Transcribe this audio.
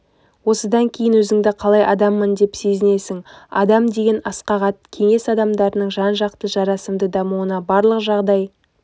осыдан кейін өзіңді қалай адаммын деп сезінесің адам деген асқақ ат кеңес адамдарының жан-жақты жарасымды дамуына барлық жағдай